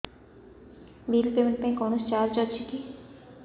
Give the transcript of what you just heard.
bill payment ପାଇଁ କୌଣସି charge ଅଛି କି